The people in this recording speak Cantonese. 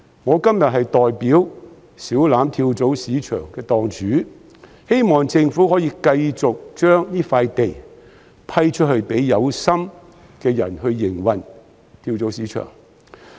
我今天代表小欖跳蚤市場的檔主，希望政府可以繼續批出這幅土地，讓有心人士繼續營運跳蚤市場。